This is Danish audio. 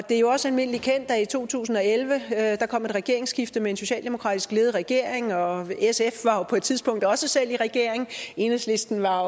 er jo også almindelig kendt at der i to tusind og elleve kom et regeringsskifte og en socialdemokratisk ledet regering og at sf på et tidspunkt også selv var i regering enhedslisten var